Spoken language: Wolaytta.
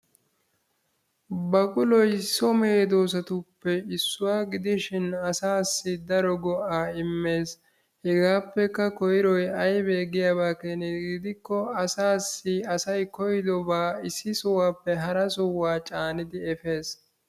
Baquloy so medoosatuppe issuwa gidishin asaassi daro go'aa immees. Hegaappekka koyroy aybee giyaba keena gidikko asaassi asay koyidobaa issi sohuwappe hara sohuwa caanidi efees.